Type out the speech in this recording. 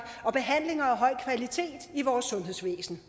og behandlinger af høj kvalitet i vores sundhedsvæsen